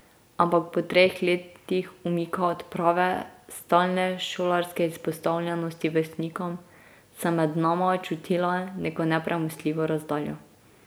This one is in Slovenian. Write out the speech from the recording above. Ampak po treh letih umika od prave, stalne šolarske izpostavljenosti vrstnikom sem med nama čutila neko nepremostljivo razdaljo.